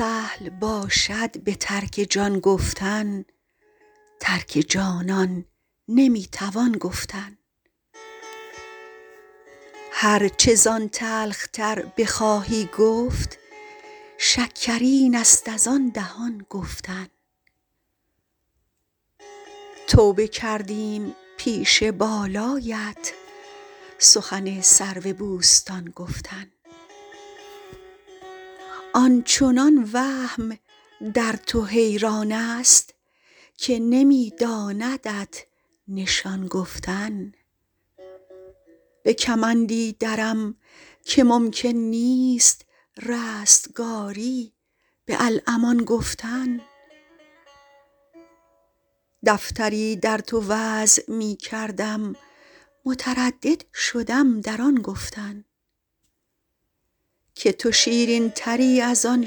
سهل باشد به ترک جان گفتن ترک جانان نمی توان گفتن هر چه زان تلخ تر بخواهی گفت شکرین است از آن دهان گفتن توبه کردیم پیش بالایت سخن سرو بوستان گفتن آن چنان وهم در تو حیران است که نمی داندت نشان گفتن به کمندی درم که ممکن نیست رستگاری به الامان گفتن دفتری در تو وضع می کردم متردد شدم در آن گفتن که تو شیرین تری از آن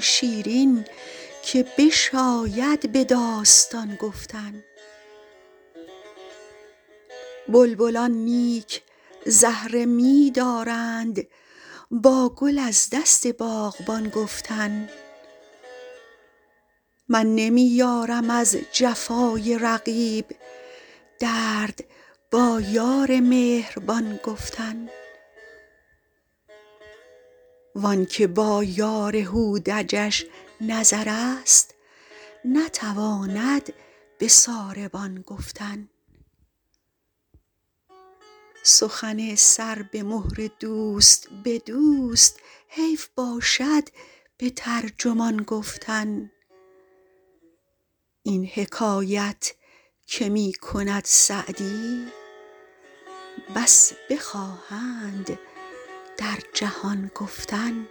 شیرین که بشاید به داستان گفتن بلبلان نیک زهره می دارند با گل از دست باغبان گفتن من نمی یارم از جفای رقیب درد با یار مهربان گفتن وان که با یار هودجش نظر است نتواند به ساربان گفتن سخن سر به مهر دوست به دوست حیف باشد به ترجمان گفتن این حکایت که می کند سعدی بس بخواهند در جهان گفتن